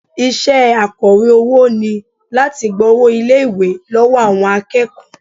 Iṣẹ́ akọ̀wé owó ni láti gba owó ilé-ìwé lọ́wọ́ àwọn akẹ́kọ̀ọ́